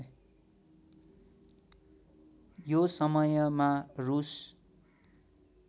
यो समयमा रूस